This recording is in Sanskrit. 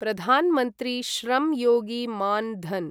प्रधान् मन्त्री श्रं योगी मान् धन्